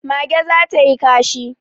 Mage za ta yi kashi